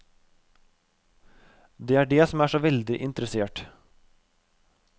Det er det som er såveldig interessert.